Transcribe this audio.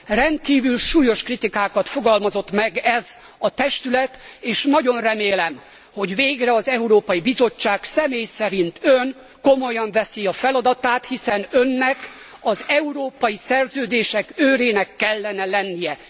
Rendkívül súlyos kritikákat fogalmazott meg ez a testület és nagyon remélem, hogy végre az Európai Bizottság, személy szerint ön, komolyan veszi a feladatát, hiszen önnek az európai szerződések őrének kellene lennie.